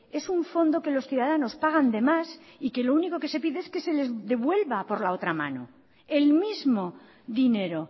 es un fondo que los ciudadanos pagan de más y que lo único que se pide es que se les devuelva por la otra mano el mismo dinero